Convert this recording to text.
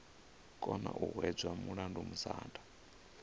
kona u hwedza mulandu musanda